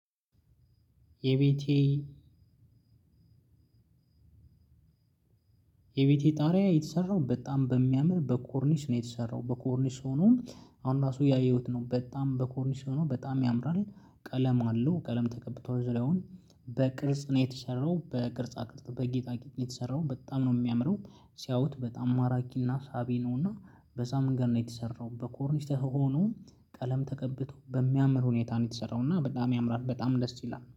የቤቴ የቤቴ ጣሪያ በጣም በሚያምር በኮርኒስ ነው የተሰራው በኮርኒስ ሆኖም አሁን ራሱ እያየሁት ነው በጣም በኮርኒስ ሆኖ በጣም ያምራል። ቀለም አለው ቀለም ተቀብቶዋል ዙሪያውም። በቅርጽ ነው የተሰራው በቅርጻ ቅርጽ በጌጣጌጥ ነው የተሰራው በጣም ነው የሚያምረው። ሲያውት በጣም ማራኪና ሳቢ ነውና በሳምንት ቀን ነው የተሰራው በኮርኒስ ተውቦ ነው። ቀለም ተቀብቶ በሚያምር ሁኔታ ነው የተሰራው እና በጣም ያምራል። በጣም ደስ ይላል